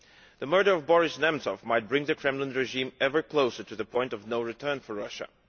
The murder of Boris Nemtsov might bring the Kremlin regime ever closer to the point of no return for Russia.